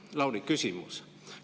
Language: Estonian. Lauri, küsimus.